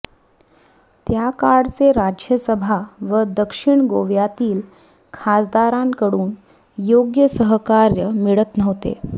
त्याकाळचे राज्यसभा व दक्षिण गोव्यातील खासदारांकडून योग्य सहकार्य मिळत नव्हते